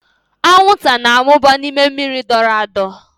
Anwụnta na-amụba n'ime mmiri dọrọ adọ.